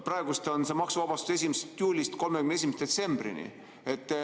Praegu on see maksuvabastus aga 1. juulist 31. detsembrini.